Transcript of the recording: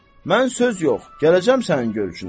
Mən söz yox, gələcəm sənin görüşünə.